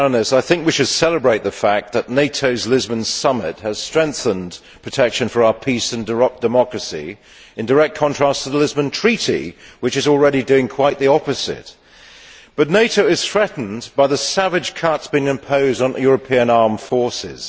I think we should celebrate the fact that NATO's Lisbon Summit has strengthened protection for our peace and democracy, in direct contrast to the Treaty of Lisbon which is already doing quite the opposite. But NATO is threatened by the savage cuts being imposed on European armed forces.